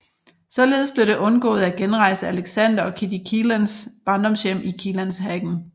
Således blev det undgået at genrejse Alexander og Kitty Kiellands barndomshjem i Kiellandshagen